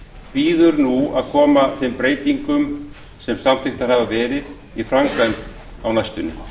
bíður nú að koma þeim breytingum sem samþykktar hafa verið í framkvæmd á næstunni